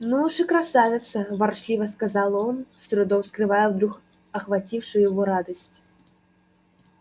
ну уж и красавица ворчливо сказал он с трудом скрывая вдруг охватившую его радость